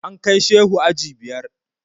An kai Shehu aji biyar.